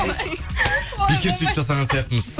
бекер сөйтіп жасаған сияқтымыз